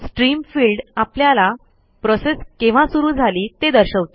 stream field आपल्याला process केव्हा सुरू झाली ते दर्शवते